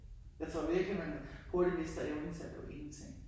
Jeg tror virkelig man hurtigt mister evnen til at lave ingenting